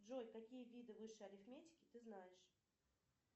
джой какие виды высшей арифметики ты знаешь